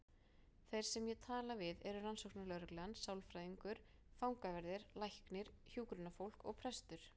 Þeir sem ég tala við eru rannsóknarlögreglan, sálfræðingur, fangaverðir, læknir, hjúkrunarfólk og prestur.